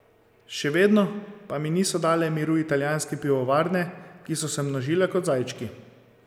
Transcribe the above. Še vedno pa mi niso dale miru italijanske pivovarne, ki so se množile kot zajčki.